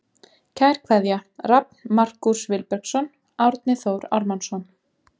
Kær kveðja Rafn Markús Vilbergsson Árni Þór Ármannsson